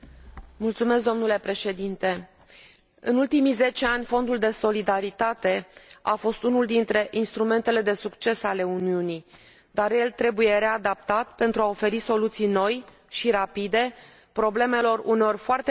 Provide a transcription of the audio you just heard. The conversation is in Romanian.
În ultimii zece ani, Fondul de Solidaritate a fost unul dintre instrumentele de succes ale Uniunii, dar el trebuie readaptat, pentru a oferi soluții noi și rapide problemelor, uneori foarte grave, cu care se confruntă cetățenii europeni.